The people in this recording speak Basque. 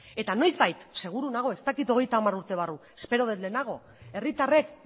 eta noizbait seguru nago ez dakit hogeita hamar urte barru espero dut lehenago herritarrek